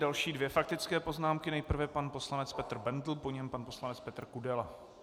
Další dvě faktické poznámky - nejprve pan poslanec Petr Bendl, po něm pan poslanec Petr Kudela.